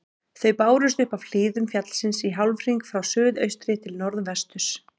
Þau bárust upp af hlíðum fjallsins í hálfhring frá suðaustri til norðvesturs.